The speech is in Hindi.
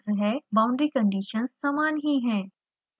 boundary conditions समान ही हैं